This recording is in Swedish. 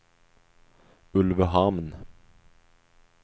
Ulvöhamn